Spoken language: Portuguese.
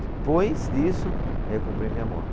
Depois disso, aí eu comprei minha moto.